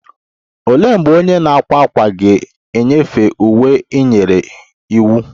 Olee mgbe onye na-akwa ákwà ga-enyefee uwe ị nyere iwu?